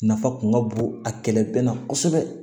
Nafa kun ka bon a kɛlɛ bɛɛ la kosɛbɛ